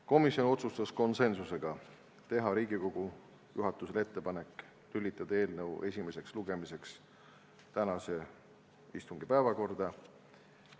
Komisjon otsustas konsensusega teha Riigikogu juhatusele ettepaneku lülitada eelnõu esimeseks lugemiseks tänase istungi päevakorda.